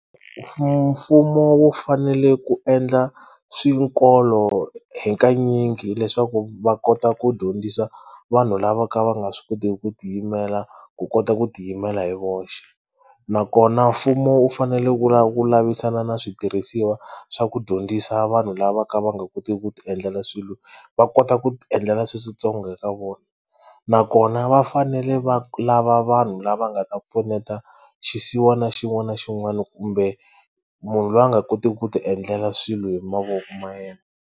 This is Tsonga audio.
Mfumo wu fanele ku endla swikolo hakanyingi leswaku va kota ku dyondzisa vanhu lava ka va nga swi kotiki ku ti yimela ku kota ku ti yimela hi voxe nakona mfumo wu fanele wu wu lavisana na switirhisiwa swa ku dyondzisa vanhu lava ka va nga koti ku ti endlela swilo va kota ku ti endlela sweswi switsongo nakona va fanele va lava vanhu lava nga ta pfuneta xisiwana xin'wana na xin'wana kumbe munhu loyi a nga kotiki ku ti endlela swilo hi mavoko ma yena.